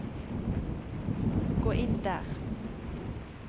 gå inn der